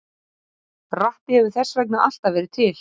Rappið hefur þess vegna alltaf verið til.